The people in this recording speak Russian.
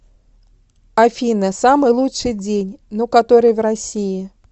афина самый лучший день ну который в россии